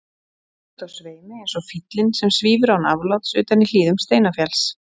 Stöðugt á sveimi eins og fýllinn sem svífur án afláts utan í hlíðum Steinafjalls.